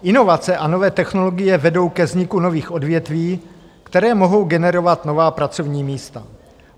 Inovace a nové technologie vedou ke vzniku nových odvětví, které mohou generovat nová pracovní místa.